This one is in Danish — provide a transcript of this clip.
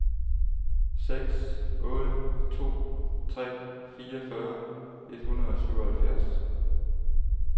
seks otte to tre fireogfyrre et hundrede og syvoghalvfjerds